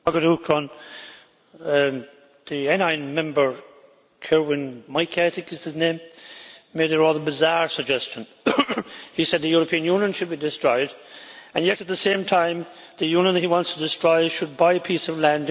Madam President, the NI Member Korwin Mikke made a rather bizarre suggestion he said the European Union should be destroyed and yet at the same time the Union he wants to destroy should buy a piece of land and create a state for albinos.